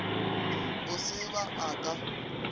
e se ba a ka